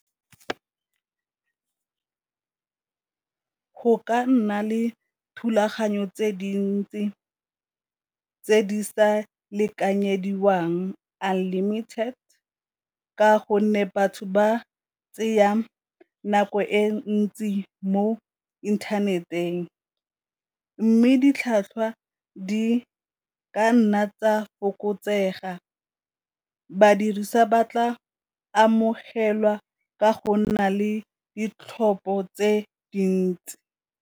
Go ka nna le thulaganyo tse dintsi tse di sa lekanyediwang unlimited, ka gonne batho ba nako e ntsi mo inthaneteng, mme ditlhwatlhwa di ka nna tsa fokotsega ba tla amogelwa ka go nna le ditlhopho tse dintsi.